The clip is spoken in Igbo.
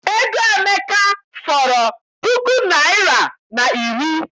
Ego Emeka fọrọ puku naịra na iri.